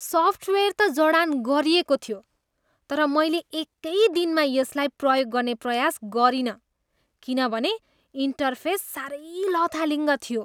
Software त जडान गरिएको थियो तर मैले एकै दिनभित्र यसलाई प्रयोग गर्ने प्रयास गरिनँ किनभने इन्टरफेस सारै लथालिङ्ग थियो।